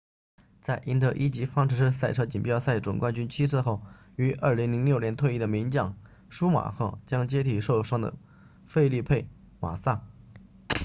在赢得一级方程式赛车锦标赛 formula 1总冠军七次后于2006年退役的名将舒马赫 schumacher 将接替受伤的菲利佩马萨 felipe massa